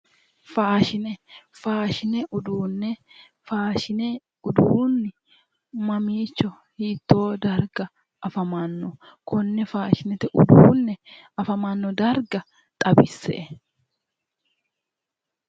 Faashine faashine uduune faashine uduune mamiicho hitoo dariga afamanno ? Konne faashinete uduune afamano darigano dariga xawise'e